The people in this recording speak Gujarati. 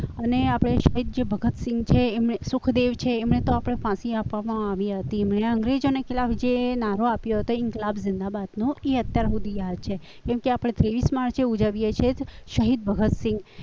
અને આપણા જે શહીદ ભગતસિંહ છે અને સુખદેવ છે એમણે તો આપણે ફાંસી આપવામાં આવી હતી એમણે અંગ્રેજોને ખીલાફ છે નારો આપ્યો હતો ઈન્કલાબ જિંદાબાદ નો અત્યાર સુધી યાદ છે કેમકે આપણે ત્રેવીસ માર્ચે ઉજવીએ છીએ શહીદ ભગતસિંહ